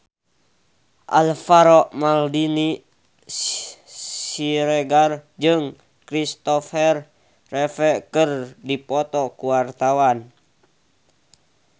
Alvaro Maldini Siregar jeung Kristopher Reeve keur dipoto ku wartawan